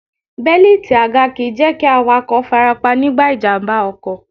Bẹ́líìti àga kìí jẹ́ kí awakọ̀ farapa nígbà ìjàmbá ọkọ̀.